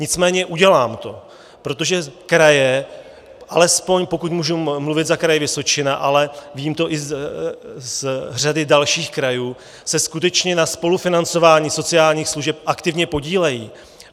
Nicméně udělám to, protože kraje, alespoň pokud můžu mluvit za Kraj Vysočina, ale vím to i z řady dalších krajů, se skutečně na spolufinancování sociálních služeb aktivně podílejí.